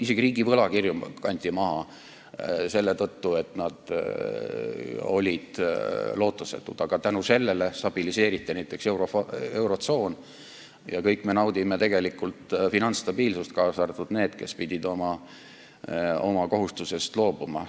Isegi riigi võlakirju kanti maha selle tõttu, et need olid lootusetud, aga tänu sellele stabiliseeriti näiteks eurotsoon ja kõik me naudime tegelikult finantsstabiilsust, kaasa arvatud need, kes pidid oma nõuetest loobuma.